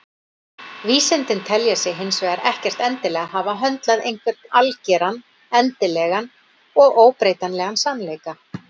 Vísindin telja sig hins vegar ekkert endilega hafa höndlað einhvern algeran, endanlegan og óbreytanlegan sannleika.